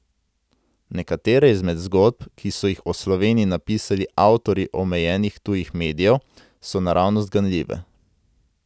Nekatere izmed zgodb, ki so jih o Sloveniji napisali avtorji omejenih tujih medijev, so naravnost ganljive.